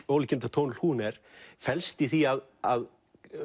ólíkindatól hún er felst í því að að